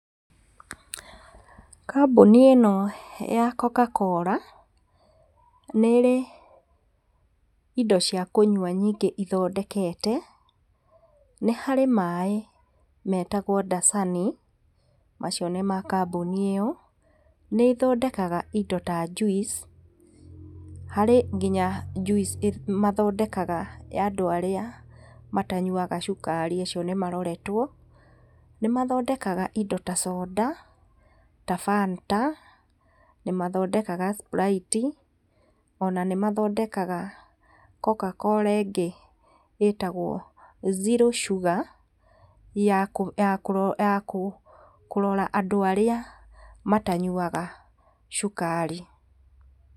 Kambuni ĩno ya Coca-cola nĩ ĩrĩ indo cia kũnywa nyingĩ ithondekete nĩharĩ maĩ metagwo dasani macio nĩ ma kambuni ĩyo, nĩ ĩthondekaga indo ta juice harĩ ngĩnya juice mathondekaga ya andũ arĩa matanyuaga cukari acio nĩmaroretwo, nĩmathondekaga indo ta coda ta fanta nĩmathondekaga sprite ona nĩmathondekaga coca-cola ĩngĩ ĩtagwo zero sugar ya kũrora andũ arĩa matanyuaga cukari.